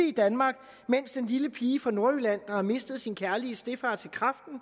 i danmark mens den lille pige fra nordjylland der har mistet sin kærlige stedfar til kræften